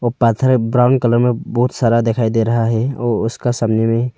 वो पत्थर है ब्राउन कलर में बहुत सारा दिखाई दे रहा है और उसका सामने में--